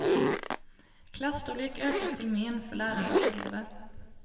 Klasstorlek ökas till men för lärare och elever.